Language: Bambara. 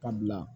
Ka bila